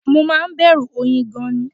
Mo máa ń bẹ̀rù oyin gan-an ni